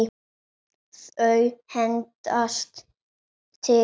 Þau hendast til.